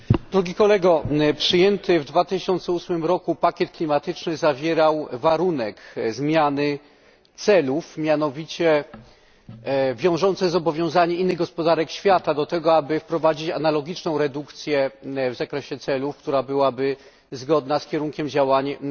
Przyjęty w 2008 roku pakiet klimatyczny zawierał warunek zmiany celów, mianowicie wiążące zobowiązanie innych gospodarek świata do tego, aby wprowadzić analogiczną redukcję w zakresie celów, która byłaby zgodna z kierunkiem działań Unii Europejskiej.